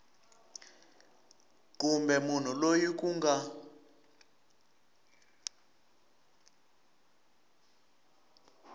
kumbe munhu loyi ku nga